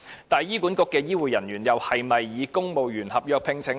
但是，醫管局的醫護人員又是否以公務員合約聘請呢？